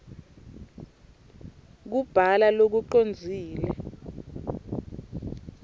kubhala lokucondzile